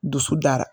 Dusu dara